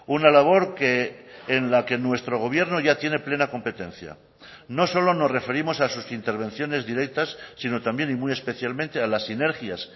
una labor que en la que nuestro gobierno ya tiene plena competencia no solo nos referimos a sus intervenciones directas sino también y muy especialmente a las sinergias